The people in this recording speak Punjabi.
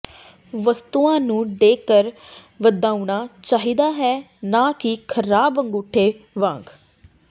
ਵਸਤੂਆਂ ਨੂੰ ਡੈਕਰ ਵਧਾਉਣਾ ਚਾਹੀਦਾ ਹੈ ਨਾ ਕਿ ਖਰਾਬ ਅੰਗੂਠੇ ਵਾਂਗ